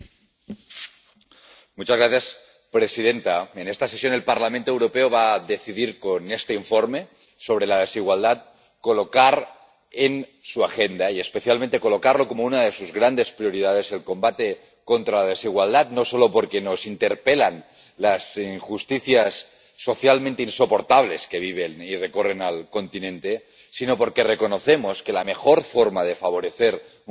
Señora presidenta, en esta sesión el Parlamento Europeo va a decidir con este informe sobre la desigualdad colocar en su agenda —y especialmente colocarlo como una de sus grandes prioridades— el combate contra la desigualdad, no solo porque nos interpelan las injusticias socialmente insoportables que se viven y recorren el continente, sino porque reconocemos que la mejor forma de favorecer un crecimiento inclusivo,